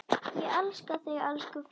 Ég elska þig, elsku frænka.